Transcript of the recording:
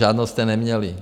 Žádnou jste neměli.